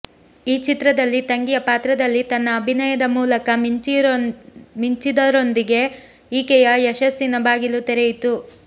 ಈ ಚಿತ್ರದಲ್ಲಿ ತಂಗಿಯ ಪಾತ್ರದಲ್ಲಿ ತನ್ನ ಅಭಿನಯದ ಮೂಲಕ ಮಿಂಚಿದರೊಂದಿಗೆ ಈಕೆಯ ಯಶಸ್ಸಿನ ಬಾಗಿಲು ತೆರೆಯಿತು